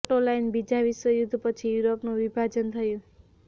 photo line બીજા વિશ્વ યુદ્ધ પછી યુરોપનું વિભાજન થયું